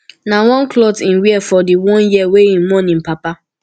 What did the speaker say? na one clot im wear for di one year wey im mourn im papa